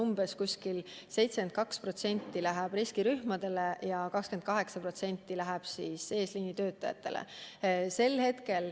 Umbes 72% läheb riskirühmadele ja 28% eesliinitöötajatele.